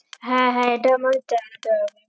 হ্যাঁ হ্যাঁ এটা আমার হবে